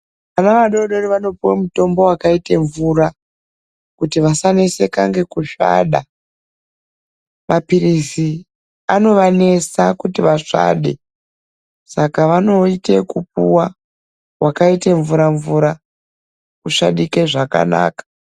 Vana vadodori vanopuwe mitombo wakaite mvura kuti vasaneseka ngekusvada. Maphirizi anovanesa kuti vasvade saka vanoite wekupuwa wakaite mvura mvura usvadike zvakanaka